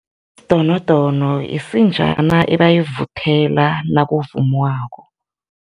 Isidonodono isinjana ebayivuthela nakuvumwako.